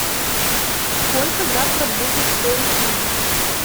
сколько завтра будет стоить ливр